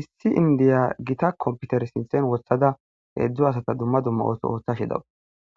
issi indiya gita komputer sinsen wossada heedzdzo asata dumma dumma ooso ooththashidawu